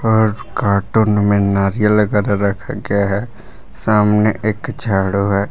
और कार्टून में नारियल लेकर रखा गया है सामने एक झाड़ू है।